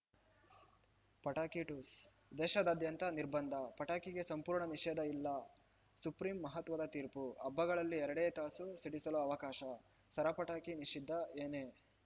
ಪಟಾಕಿ ಠುಸ್‌ ದೇಶಾದ್ಯಂತ ನಿರ್ಬಂಧ ಪಟಾಕಿಗೆ ಸಂಪೂರ್ಣ ನಿಷೇಧ ಇಲ್ಲ ಸುಪ್ರೀಂ ಮಹತ್ವದ ತೀರ್ಪು ಹಬ್ಬಗಳಲ್ಲಿ ಎರಡೇ ತಾಸು ಸಿಡಿಸಲು ಅವಕಾಶ ಸರಪಟಾಕಿ ನಿಷಿದ್ಧ ಏನೇ